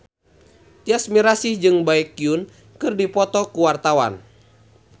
Tyas Mirasih jeung Baekhyun keur dipoto ku wartawan